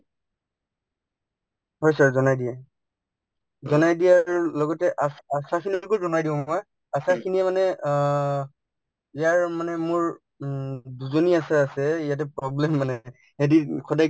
হয় sir, জনাই দিয়ে জনাৰ দিয়াৰ লগতে আশ আশাখিনিকো জনাই দিওঁ মই আশাখিনিয়ে মানে অ যাৰ মানে মোৰ উম দুজনী আশা আছে ইয়াতে problem মানে সদায়